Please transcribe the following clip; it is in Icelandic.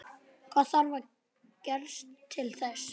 Hvað þarf að gerast til þess?